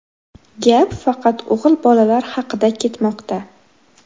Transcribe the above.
Gap faqat o‘g‘il bolalar haqida ketmoqda.